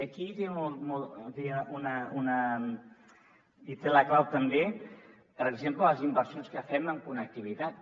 aquí hi tenen la clau també per exemple les inversions que fem en connectivitat